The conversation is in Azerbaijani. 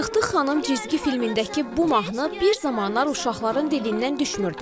Tıq-tıq xanım cizgi filmindəki bu mahnı bir zamanlar uşaqların dilindən düşmürdü.